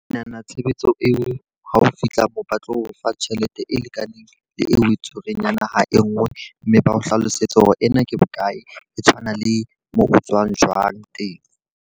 Ke nahana tshebetso eo ha o fihla moo ba tlo o fa tjhelete e lekaneng le eo o e tshwereng ya naha e nngwe. Mme ba o hlalosetse hore ena ke bokae e tshwana le moo o tswang jwang teng.